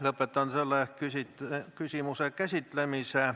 Lõpetan selle küsimuse käsitlemise.